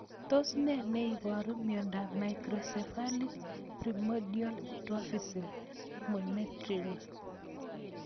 Tos nee neiparu miondop Microcephalic primordial dwarfism, Montreal